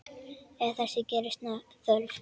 Ef þess gerist þörf